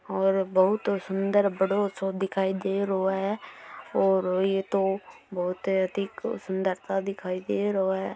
और बहोत सुंदर बड़ों सो दिखाई दे रहो है और ये तो बहोत अधिक सुंदरता दिखाई दे रहो है।